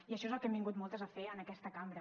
i això és el que hem vingut moltes a fer en aquesta cambra